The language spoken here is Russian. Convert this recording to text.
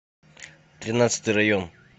тринадцатый район